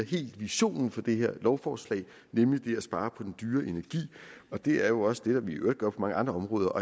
visionen for det her lovforslag nemlig at spare på den dyre energi det er jo også det vi i øvrigt gør på mange andre områder og